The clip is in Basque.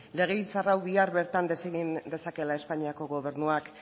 legebiltzar hau bihar bertan desegin dezakeela espainiako gobernuak